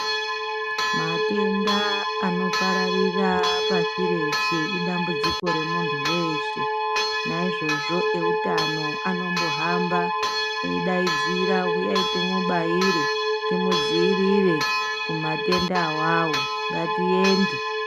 Matenda anopararira pashi reshe idambudziko remuntu veshe. Naizvozvo eutano anombohamba eidaidzira uyai timubaire timudzirire kumatenda avavo ngatiende.